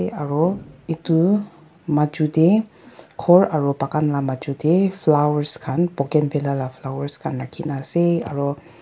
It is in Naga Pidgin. Aro etu maju dae ghor aro bagan la maju dae flowers khan bouquet la flowers khan rakhina ase aro--